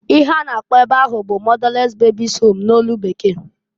Ihe a na-akpọ ebe ahu bu motherless babies' home n'olu Bekee.